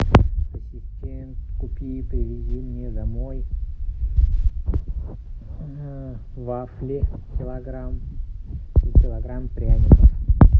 ассистент купи и привези мне домой вафли килограмм и килограмм пряников